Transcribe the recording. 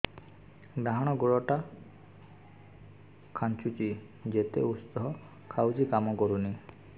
ଡାହାଣ ଗୁଡ଼ ଟା ଖାନ୍ଚୁଚି ଯେତେ ଉଷ୍ଧ ଖାଉଛି କାମ କରୁନି